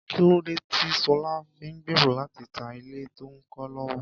Kí lóde tí Ṣọlá fi ń gbèrò láti ta ilé tó ń kọ́ lọ́wọ́?